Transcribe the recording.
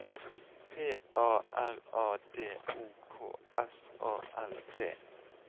P A R A D O K S A L T